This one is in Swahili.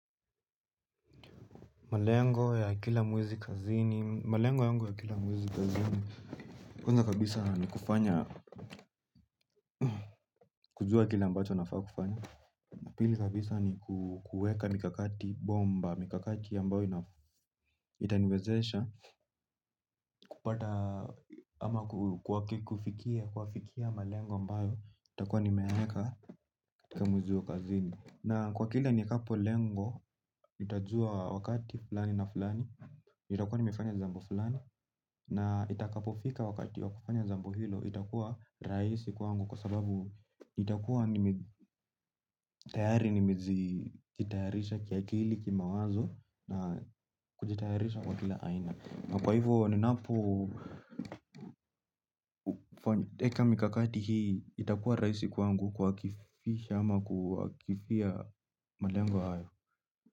Malengo ya kila mwezi kazini. Malengo yangu ya kila mwezi kazini. Kwa nza kabisa ni kufanya, kujua kile ambacho nafaa kufanya. Napili kabisa ni kukueka mikakati, bomba, mikakati ambayo itaniwezesha. Kupata ama kufikia, kuafikia malengo ambayo itakua nimeyaeka kwa mwezi hio kazini. Na kwa kila nikapo lengo, nitajua wakati fulani na fulani. Itakuwa nimefanya jambo fulani na itakapofika wakati wakufanya jambo hilo itakuwa raisi kwangu kwa sababu itakuwa nimetayari nimejitayarisha kia kili kima wazo na kujitayarisha kwa kila aina. Kwa hivyo ninapo eka mikakati hii itakuwa raisi kwangu kuwa kifisha ama kuwa kifia malengo haya.